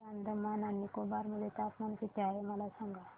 आज अंदमान आणि निकोबार मध्ये तापमान किती आहे मला सांगा